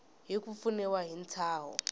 hi ku pfuniwa hi ntshaho